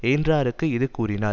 யென்றார்க்கு இது கூறினார்